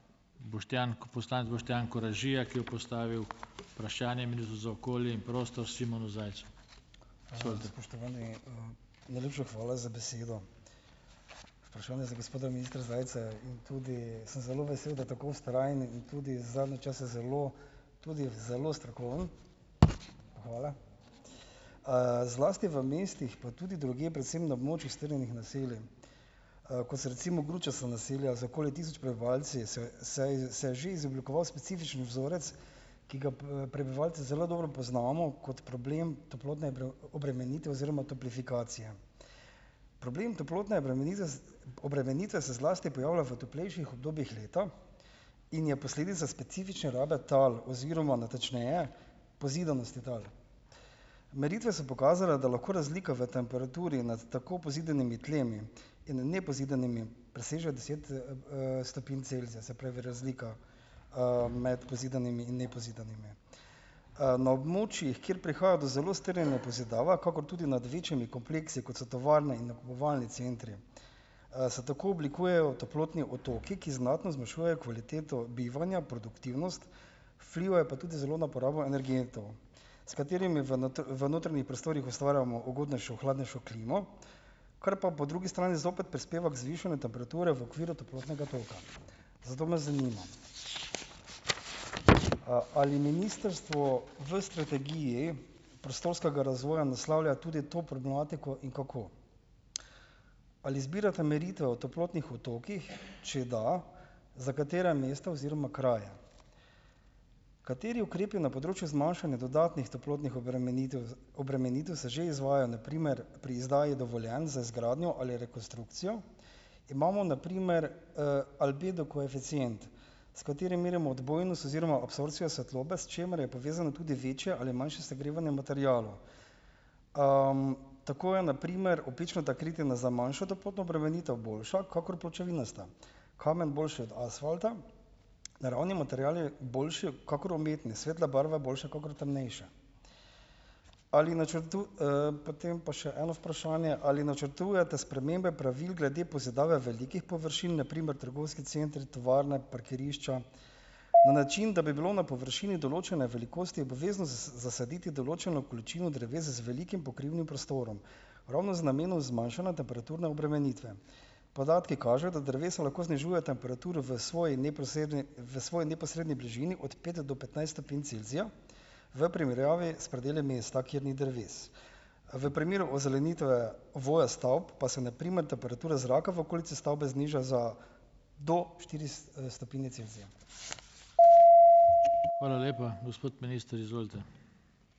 Najlepša hvala za besedo. Vprašanje za gospoda ministra Zajca je, in tudi sem zelo vesel, da tako vztrajen in tudi zadnje čase zelo tudi zelo strokoven. Hvala. Zlasti v mestih, pa tudi drugje, predvsem na območju strnjenih naselij, kot so recimo gručasta naselja z okoli tisoč prebivalci, se se je se je že izoblikoval specifičen vzorec, ki ga prebivalci zelo dobro poznamo kot problem toplotne obremenitve oziroma toplifikacije. Problem toplotne obremenitve obremenitve se zlasti pojavlja v toplejših obdobjih leta in je posledica specifične rabe tal oziroma natančneje pozidanosti tal. Meritve so pokazale, da lahko razlika v temperaturi nad tako pozidanimi tlemi in nepozidanimi presežejo deset, stopinj Celzija, se pravi razlika, med pozidanimi in nepozidanimi. Na območjih, kjer prihaja do zelo strnjene pozidave, kakor tudi nad večjimi kompleksi, kot so tovarne in nakupovalni centri, se tako oblikujejo toplotni otoki, ki znatno zmanjšujejo kvaliteto bivanja, produktivnost, vplivajo pa tudi zelo na porabo energentov, s katerimi v v notranjih prostorih ustvarjamo ugodnejšo hladnejšo klimo, kar pa po drugi strani zopet prispeva k zvišanju temperature v okviru toplotnega toka. Zato me zanima , ali ministrstvo v strategiji prostorskega razvoja naslavlja tudi to problematiko in kako? Ali zbirate meritve o toplotnih otokih? Če da, za katera mesta oziroma kraje? Kateri ukrepi na področju zmanjšanja dodatnih toplotnih obremenitev obremenitev se že izvajajo, na primer pri izdaji dovoljenj za izgradnjo ali rekonstrukcijo? Imamo na primer, albedo koeficient, s katerim merimo odbojnost oziroma absorpcijo svetlobe, s čimer je povezano tudi večje ali manjše segrevanje materialov. Tako je na primer opečnata kritina za manjšo toplotno obremenitev boljša kakor pločevinasta, kamen boljši od asfalta, naravni materiali boljši kakor umetni, svetla barva je boljša kakor temnejša. Ali Potem pa še eno vprašanje: Ali načrtujete spremembe pravil glede pozidave velikih površin, na primer trgovski centri, tovarne, parkirišča, na način, da bi bilo na površini določene velikosti obvezno zasaditi določeno količino dreves z velikim pokrivnim prostorom, ravno z namenom zmanjšanja temperaturne obremenitve? Podatki kažejo, da drevesa lahko znižujejo temperaturo v svoji neposredni v svoji neposredni bližini od pet do petnajst stopinj Celzija v primerjavi s predeli mesta, kjer ni dreves. V primeru ozelenitve voja stavb, pa se na primer temperature zraka v okolici stavbe zniža za do štiri stopinje Celzija.